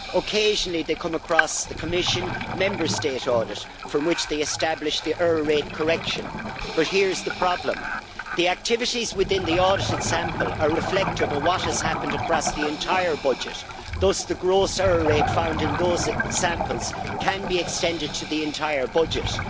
Occasionally they come across the Commission's Member State audit from which they establish the error rate correction. But here is the problem The activities within the audited sample are reflective of what has happened across the entire budget. Thus, the gross error rate found in those samples can be extended to the entire budget.